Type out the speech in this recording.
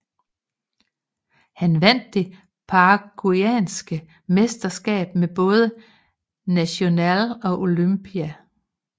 Han vandt det paraguayanske mesterskab med både Nacional og Olimpia